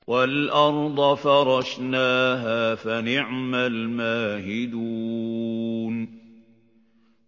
وَالْأَرْضَ فَرَشْنَاهَا فَنِعْمَ الْمَاهِدُونَ